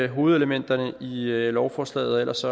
hovedelementerne i lovforslaget ellers